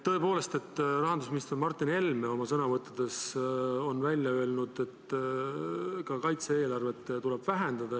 Tõepoolest, rahandusminister Martin Helme oma sõnavõttudes on öelnud, et ka kaitse-eelarvet tuleb vähendada.